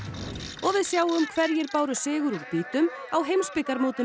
og við sjáum hverjir báru sigur úr býtum á heimsbikarmótinu